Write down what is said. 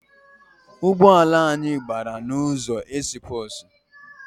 Ụgbọala anyị gbara n’ụzọ esipursi